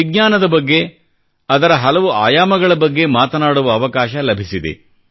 ವಿಜ್ಞಾನದ ಬಗ್ಗೆ ಅದರ ಹಲವು ಆಯಾಮಗಳ ಬಗ್ಗೆ ಮಾತನಾಡುವ ಅವಕಾಶ ಲಭಿಸಿದೆ